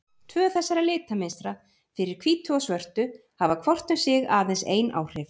Tvö þessara litamynstra, fyrir hvítu og svörtu, hafa hvort um sig aðeins ein áhrif.